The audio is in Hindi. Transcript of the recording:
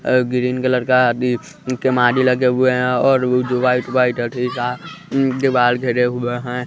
अह ग्रीन कलर का लगे हुए हैं और वो जो व्हाइट व्हाइट है ठीक है उम्म दीवाल घेरे हुए हैं।